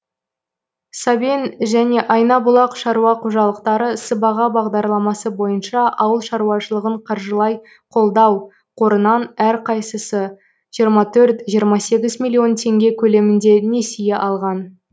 сабен және айнабұлақ шаруа қожалықтары сыбаға бағдарламасы бойынша ауыл шаруашылығын қаржылай қолдау қорынан әрқайсысы жиырма төрт жиырма сегіз миллион теңге көлемінде несие алған